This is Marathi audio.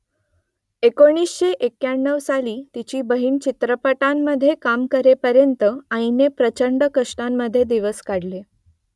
एकोणीसशे एक्क्याण्णव साली तिची बहीण चित्रपटांमधे काम करेपर्यंत आईने प्रचंड कष्टांमधे दिवस काढले